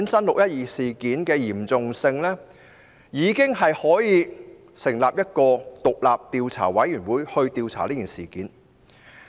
"六一二"事件十分嚴重，足以成立專責委員會進行調查。